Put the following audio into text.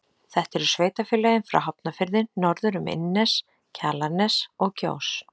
Þetta eru sveitarfélögin frá Hafnarfirði norður um Innnes, Kjalarnes og Kjós.